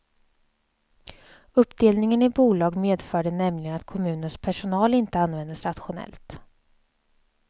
Uppdelningen i bolag medförde nämligen att kommunens personal inte användes rationellt.